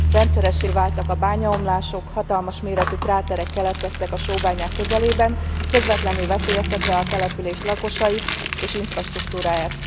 Rendszeressé váltak a bányaomlások, hatalmas méretű kráterek keletkeztek a sóbányák közelében, közvetlenül veszélyeztetve a település lakosait és infrastruktúráját.